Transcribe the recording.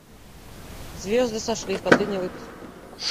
звезды сошлись последний выпуск